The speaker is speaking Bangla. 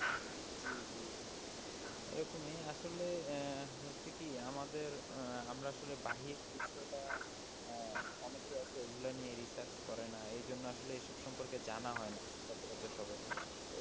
জি জি এরকমই আসলে হয়েছে কি আমাদের আমরা আসলে বাহির দৃশ্যটা অনেকে আছে এগুলো নিয়ে রিসার্চ করে না, এ জন্য এসব সম্পর্কে জানান হয়না সচর আচর সায়ের,